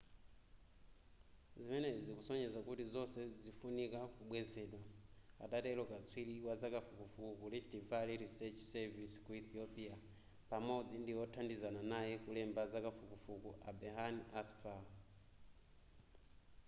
zimenezi zikusonyeza kuti zonse zifunika kubwezedwa adatero katswiri wazakafukufuku ku rift valley research service ku ethiopia pamodzi ndi wothandizana naye kulemba zakafukufukuyu a berhane asfaw